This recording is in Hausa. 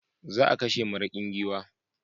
Za a kashe maraƙin giwa.